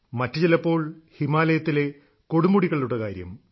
മറ്റുചിലപ്പോൾ ഹിമാലയത്തിലെ കൊടുമുടികളുടെ കാര്യം